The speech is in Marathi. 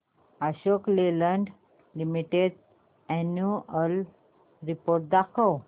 Ashok Leyland Limited annual report दाखव